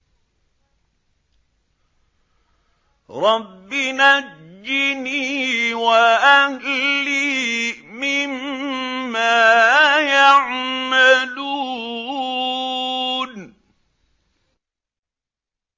رَبِّ نَجِّنِي وَأَهْلِي مِمَّا يَعْمَلُونَ